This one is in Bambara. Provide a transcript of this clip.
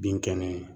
Bin kɛnɛ